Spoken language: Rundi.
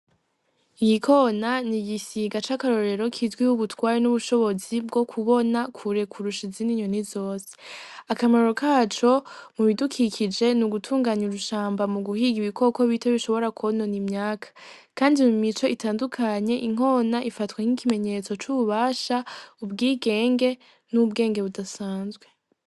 Inkona nigisiga cakarorero kizwiho ubutwari nubushobozi bwo kubona kure kurusha izindi nyoni zose akamaro kaco mubidukikije nugutunganya urushamba muguhiga ibikoko bito bishobora kwonona imyaka kandi mumice itandukanye inkona ifatwa nkikimenyetse cububasha ubwigenge nubwenge budasanzwe.